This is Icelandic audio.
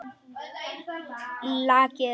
Lakið er ónýtt!